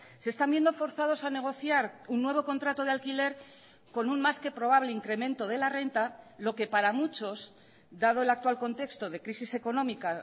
se están viendo forzados a negociar un nuevo contrato de alquiler con un más que probable incremento de la renta lo que para muchos dado el actual contexto de crisis económica